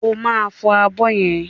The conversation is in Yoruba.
Ó máa fọ abọ́ yẹn.